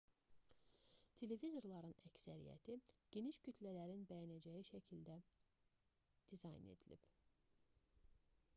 televizorların əksəriyyəti geniş kütlələrin bəyənəcəyi şəkildə dizayn edilib